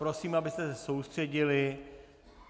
Prosím, abyste se soustředili.